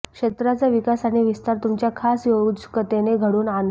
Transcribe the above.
क्षेत्राचा विकास आणि विस्तार तुमच्या खास योजकतेने घडवून आणाल